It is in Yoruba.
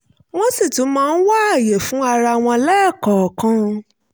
wọ́n sì tún máa ń wá àyè fún ara wọn lẹ́ẹ̀kọ̀ọ̀kan